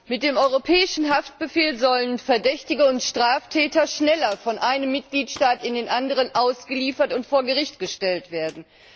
Mit dem europäischen Haftbefehl sollen Verdächtige und Straftäter schneller von einem Mitgliedstaat in den anderen ausgeliefert und vor Gericht gestellt werden.